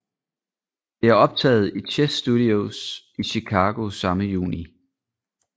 Det er optaget i Chess Studios i Chicago samme juni